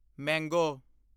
ਮੰਗੋ